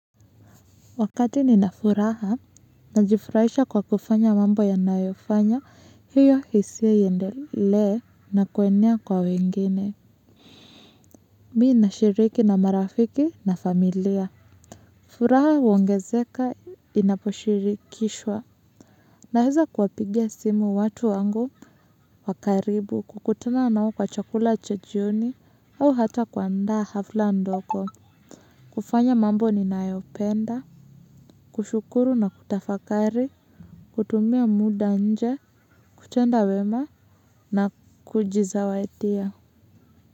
Wakati ninafuraha, najifurahisha kwa kufanya mambo yanayofanya, hiyo hisia iendelee na kuenea kwa wengine. Mi nashiriki na marafiki na familia. Furaha huongezeka inaposhirikishwa. Naeza kuwapigia simu watu wangu wa karibu, kukutana nao kwa chakula cha jioni, au hata kuandaa hafla ndoko. Kufanya mambo ninayopenda, kushukuru na kutafakari. Kutumia muda nje, kutenda wema na kujizawadia.